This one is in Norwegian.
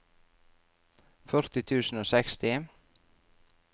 førti tusen og seksti